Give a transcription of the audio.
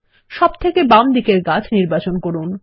সবথেকে বাম দিকের গাছ নির্বাচন করুন